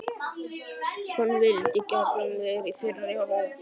Hann vildi gjarnan vera í þeirra hópi.